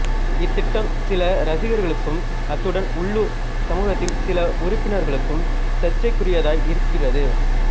இத்திட்டம் சில ரசிகர்களுக்கும் அத்துடன் உள்ளூர் சமூகத்தின் சில உறுப்பினர்களுக்கும் சர்ச்சைக்குரியதாய் இருக்கிறது